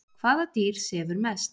hvaða dýr sefur mest